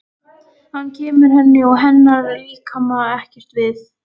Hann kemur henni og hennar líkama ekkert við.